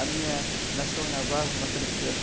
A minha nação é navarro, norte-americana.